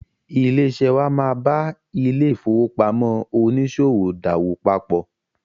Ilé-iṣẹ́ wà máa ba ilé-ìfowópamọ oníṣòwò dáwòpòpọ.